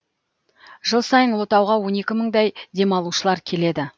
жыл сайын ұлытауға он екі мыңдай демалушылар келеді